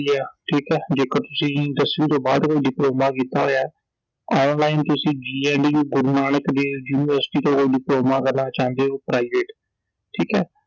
ਠੀਕ ਆ ਜੇਕਰ ਤੁਸੀਂ ਦਸਵੀਂ ਤੋਂ ਬਾਅਦ ਕੋਈ ਡਿਪਲੋਮਾ ਕੀਤਾ ਹੋਇਆ online ਤੁਸੀਂ GNDU ਗੁਰੂ ਨਾਨਕ ਦੇਵ ਯੂਨੀਵਰਸਿਟੀ ਤੋਂ ਡਿਪਲੋਮਾ ਕਰਨਾ ਚਾਹੁੰਦੇ ਹੋ Private ਠੀਕ ਐ